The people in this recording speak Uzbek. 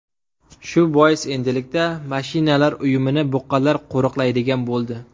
Shu bois endilikda mashinalar uyumini buqalar qo‘riqlaydigan bo‘ldi.